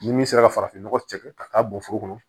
Ni min sera farafin nɔgɔ cɛkɛ ka taa bɔn foro kɔnɔ